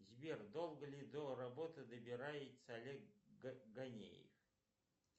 сбер долго ли до работы добирается олег ганеев